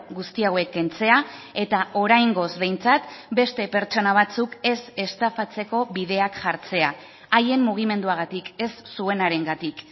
guzti hauek kentzea eta oraingoz behintzat beste pertsona batzuk ez estafatzeko bideak jartzea haien mugimenduagatik ez zuenarengatik